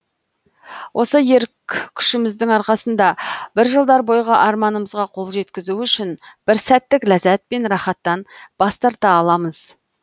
осы ерік күшіміздің арқасында бір жылдар бойғы арманымымызға қол жеткізу үшін бір сәттік ләззат пен рахаттан бас тарта аламыз